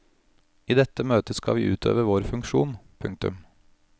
I dette møtet skal vi utøve vår funksjon. punktum